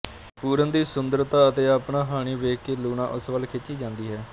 ਪੂਰਨ ਦੀ ਸੁੰਦਰਤਾ ਅਤੇ ਆਪਣਾ ਹਾਣੀ ਵੇਖ ਕੇ ਲੂਣਾ ਉਸ ਵਲ ਖਿੱਚੀ ਜਾਂਦੀ ਹੈ